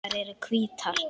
Þær eru hvítar.